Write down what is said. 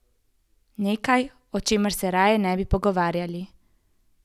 Nekaj, o čemer se raje ne bi pogovarjali.